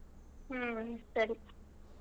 ಹ್ಮ್ ಸರಿ.